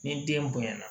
Ni den bonya na